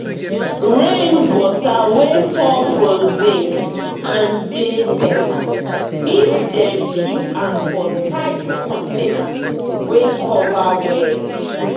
rain water wey fall from zinc roof dey better if dem keep am for tight container wey cover well.